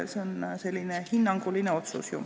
See on ju selline hinnanguline otsus.